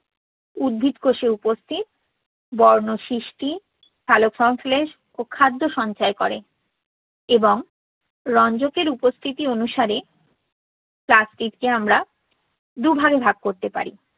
উদ্ভিদ কোষে উপস্থিত বর্ণ সৃষ্টি, সালোকসংশ্লেষ ও খাদ্য সঞ্চয় করে। এবং রঞ্জকের উপস্থিতি অনুসারে plastids কে আমরা দু'ভাগে ভাগ করতে পারি।